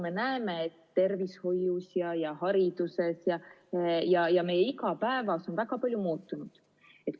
Me näeme, et tervishoius, hariduses ja meie igapäevas on väga palju muutunud.